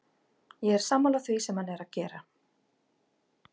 Ég er sammála því sem hann er að gera.